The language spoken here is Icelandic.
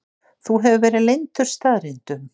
Þú hefur verið leyndur staðreyndum.